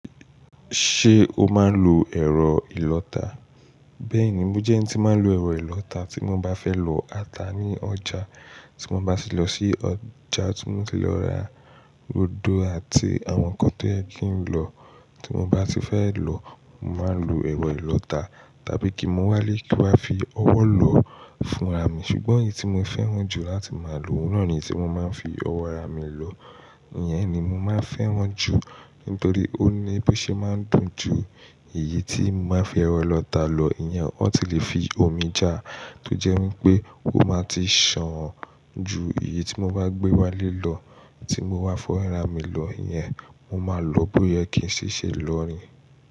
Ṣé o máa ń lo ẹ̀rọ ìlọta? Bẹ́ẹ̀ni, mo jẹ́ ẹni tí máa ń lo ẹ̀rọ ìlọta tí mo bá fẹ́ lọ ata ní ọjà, tí mo bá ti lọ sí ọjà, tí mo bá ti lọ ra rodo àti àwọn nǹkan tó yẹ kí n lọ, tí mo bá ti fẹ́ lọ, mo máa ń lo ẹ̀rọ ìlọta tàbí kí mu wálé kí n wá fi ọwọ́ lọ fúnra mi. Ṣùgbọ́n èyí tí mo fẹ́ràn jù láti máa lò, òun náà ni tí mo máa ń fi ọwọ́ rà mí lọ, ìyẹn ni mo máa ń fẹ́ràn jù nítorí ó ní bó ṣe máa ń dùn ju èyí tí mo bá fi ẹ̀rọ ìlọta lọ. Ìyẹn won ti lè fi omi ja, tó jẹ́ wípé ó máa ti san ju èyí tí mo bá gbé wálé lọ tí mo bá fọ́wo ara mi lọ. Ìyẹn mo máa lò bóye kí n ṣì ṣe lọ ni.